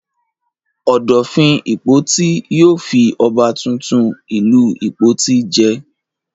Ọ̀dọ̀fin Ìpoti yóò fi ọba tuntun ìlú Ìpoti jẹ.